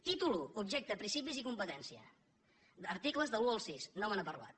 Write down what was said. títol i objecte principis i competència articles de l’un al sis no me n’ha parlat